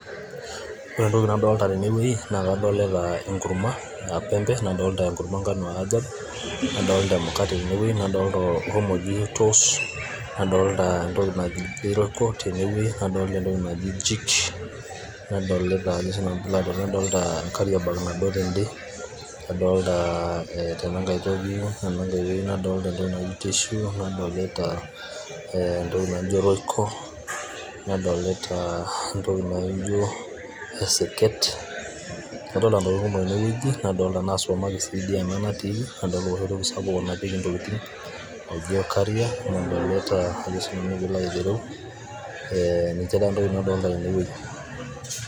Ore entoki nadolita tenwuei naa kadolita enkurma aa pembe, nadolita enkurma engano aa ajab, nadolita emukate tenewuei nadolita nadolita omo oji toss, nadolita entoki naji royco tenewueji, nadolita entoki naji jik, nadolita enkariaabag nado tende, nadolita tenankai toki naji tissue, nadolita entoki naajio esiket. Kadolita intokitin kumok oleng' tenewueji nadolita naa aa supermarket dii ena natiiki, nadolita enoshi toki sapuk nanapieki intokitin ojoi olcarrier nadolita akesinanu piilo alo aitereu ee nince intokitin nadolita tenewueji.